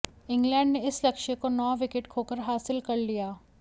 England ने इस लक्ष्य को नौ विकेट खोकर हासिल कर लिया